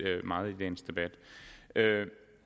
meget i dagens debat